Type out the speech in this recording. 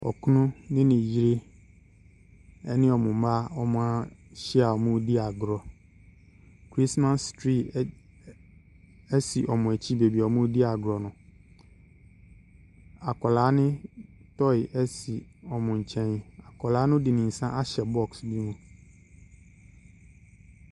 Okunu ne ne yere ne wɔn mma, wɔahyia a wɔredi agorɔ. Chiristmas tree ɛd ɛ si wɔn akyi baabi a wɔredi agorɔ no. Akwadaa no toy si wɔn nkyɛn. Akwadaa no de ne nsa ahyɛ boɔ no mu.